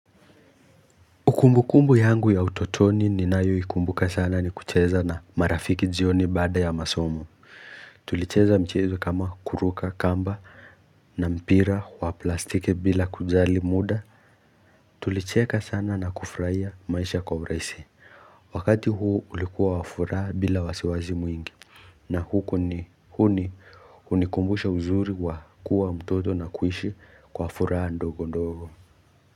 Kumbu kumbu yangu ya utotoni ninayoikumbuka sana, ni kucheza na marafiki jioni baada ya masomo. Tulicheza michezo kama kuruka kamba, na mpira wa plastiki bila kujali muda. Tulicheka sana na kufurahia maisha kwa urahisi. Wakati huu, ulikuwa wafuraha bila wasiwasi mwingi. Na huko ni huni hunikumbusha uzuri wa kuwa mtoto, na kuishi kwa furaha ndogo ndogo.